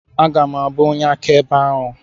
Aga m abụ onye akaebe ahụ.